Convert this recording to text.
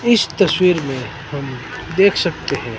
इस तस्वीर में हम देख सकते हैं।